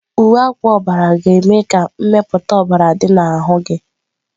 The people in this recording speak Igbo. Uwe akwa ọbara ga-eme ka mmepụta ọbara dị n'ahụ gị.